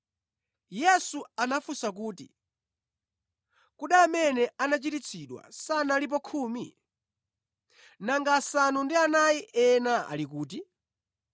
Yesu anafunsa kuti, “Kodi amene anachiritsidwa sanalipo khumi? Nanga asanu ndi anayi ena ali kuti?